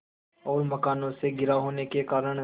और मकानों से घिरा होने के कारण